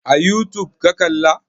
A youtube ka kalla?